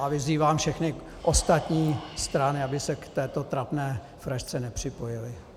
A vyzývám všechny ostatní strany, aby se k této trapné frašce nepřipojily.